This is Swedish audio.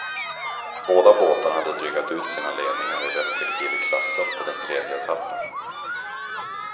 Båda båtarna hade drygat ut sina ledningar i respektive klasser på den tredje etappen.